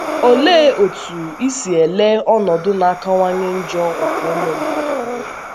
Olee otú i si ele ọnọdụ na - akawanye njọ nke ụmụ mmadụ anya?